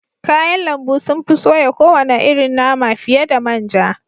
Kayan lambu sun fi soya kowane irin nama fiye da man ja